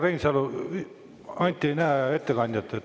Härra Reinsalu, Anti ei näe ettekandjat.